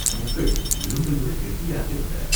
முட்கள் இரும்பைவிடக் கெட்டியாக இருந்தன.